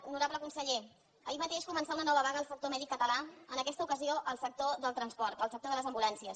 honorable conseller ahir mateix començà una nova vaga en el sector mèdic català en aquesta ocasió en el sector del transport en el sector de les ambulàncies